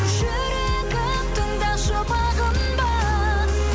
жүрегім тыңдашы бағынба